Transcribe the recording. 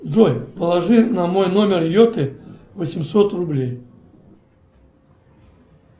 джой положи на мой номер йоты восемьсот рублей